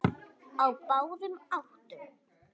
Á báðum áttum.